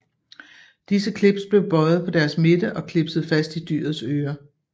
Disse clips blev bøjede på deres midte og clipset fast i dyrets øre